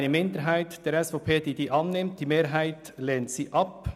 Eine Minderheit der SVP nimmt die Motion an, die Mehrheit lehnt sie ab.